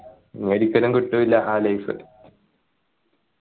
ഒരിക്കലും കിട്ടൂല ആ life